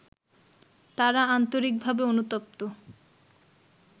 তারা আন্তরিকভাবে অনুতপ্ত